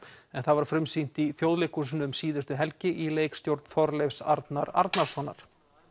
en það var frumsýnt í Þjóðleikhúsinu um síðustu helgi í leikstjórn Þorleifs Arnar Arnarssonar